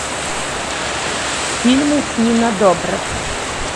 фильмы с нина добрев